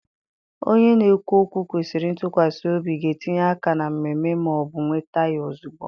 Onye na-ekwu okwu kwesịrị ntụkwasị obi ga-etinye aka na mmemme ma ọ bụ nweta ya ozugbo.